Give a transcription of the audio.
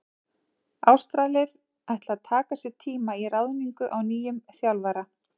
Ástralir ætla að taka sér tíma í ráðningu á nýjum þjálfara.